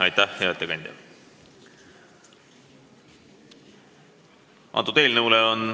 Aitäh, hea ettekandja!